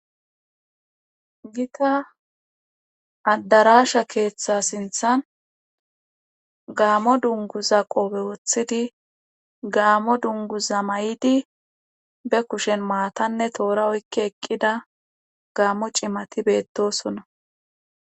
gita addaraasha keeththa sinthan gaamo dunguza qobe woththidi gaamo dunguza mayidi be kushen maatanne toora oykke eqqida gaammo cimati beettosonna